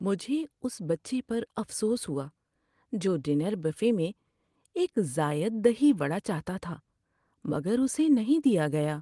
مجھے اس بچے پر افسوس ہوا جو ڈنر بوفے میں ایک زائد دہی وڈا چاہتا تھا مگر اسے نہیں دیا گیا۔